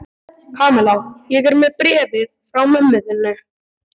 Kamilla, ég er með bréfið frá mömmu þinni.